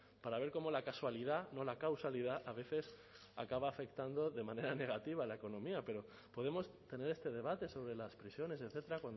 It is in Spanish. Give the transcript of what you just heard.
para ver cómo la casualidad no la causalidad a veces acaba afectando de manera negativa a la economía pero podemos tener este debate sobre las prisiones etcétera